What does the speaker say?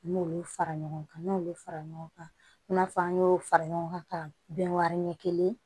N m'olu fara ɲɔgɔn kan n'olu fara ɲɔgɔn kan i n'a fɔ an y'o fara ɲɔgɔn kan ka bɛn wari ɲɛ kelen